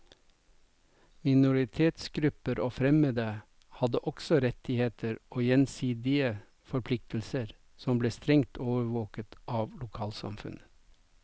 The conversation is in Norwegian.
Minoritetsgrupper og fremmede hadde også rettigheter og gjensidige forpliktelser, som ble strengt overvåket av lokalsamfunnet.